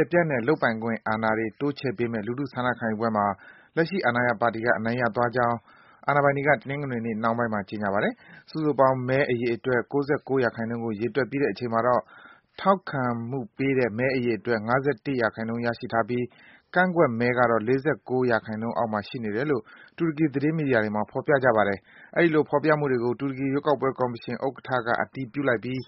ယ်ပြန့်တဲ့ လုပ်ပိုင်ခွင့်အာဏာတွေ တိုးချဲ့ပေးမယ့် လူထုဆန္ဒခံယူပွဲမှာ လက်ရှိအာဏာရ ပါတီက အနိုင်ရသွားကြောင်း အာဏာပိုင်တွေက တနင်္ဂနွေနေ့ နှောင်းပိုင်းမှာ ကြေညာပါတယ်။ စုစုပေါင်း မဲအရေအတွက် ၉၉% လောက်ကို ရေတွက်ပြီးတဲ့အချိန်မှာတော့ ထောက်ခံမှုပေးတဲ့ မဲအရေအတွက် ၅၁% ရရှိထားပြီး ကန့်ကွက်မဲကတော့ ၄၉% အောက်မှာ ရှိနေတယ်လို့ တူရကီ သတင်းမီဒီယာတွေမှာ ဖော်ပြကြပါတယ်။ အဲဒီလို ဖော်ပြနေမှုတွေကို တူရကီ ရွေးကောက်ပွဲ ကော်မရှင်ဥက္ကဋ္ဌက အတည်ပြုလိုက်ပြီး